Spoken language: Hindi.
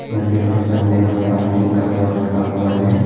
मंदिर के सामने नो पार्किंग का बोर्ड लगा हुआ है।